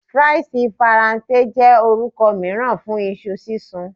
Fries Faranse jẹ orukọ miiran fun iṣu sisun